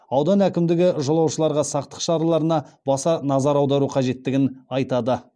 аудан әкімдігі жолаушыларға сақтық шараларына баса назар аудару қажеттігін айтады